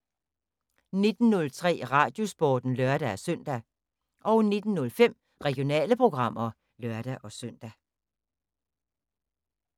19:03: Radiosporten (lør-søn) 19:05: Regionale programmer (lør-søn)